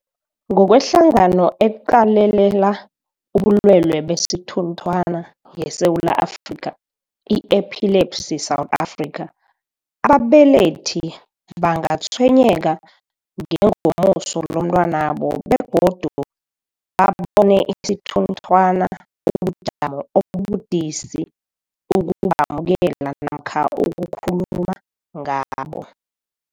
NgokweHlangano eQalelela ubuLwele besiThunthwana yeSewula Afrika, i-Epilepsy South Africa, ababelethi bangatshwenyeka ngengomuso lomntwanabo begodu babone isithunthwana kubujamo obubudisi ukubamukela namkha ukukhuluma ngabo.